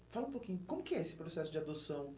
E fala um pouquinho, como que é esse processo de adoção?